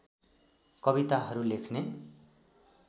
कविताहरू लेख्ने